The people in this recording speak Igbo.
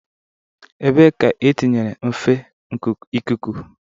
Ebee ka etinyere nfe ikuku?